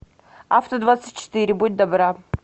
авто двадцать четыре будь добра